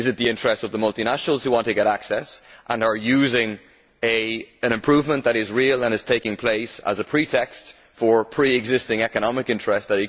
Is it the interests of the multinationals who want to get access and are using an improvement that is real and is taking place as a pretext for pre existing economic interests?